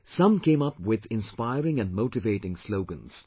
Some came up with inspiring and motivating slogans